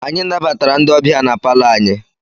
Anyị nabatara ndị ọbịa na palọ anyị.